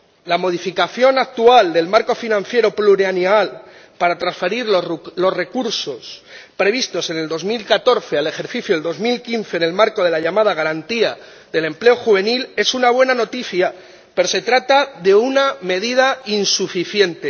La modificación actual del marco financiero plurianual para transferir los recursos previstos en 2014 al ejercicio 2015 en el marco de la llamada Garantía Juvenil es una buena noticia, pero se trata de una medida insuficiente.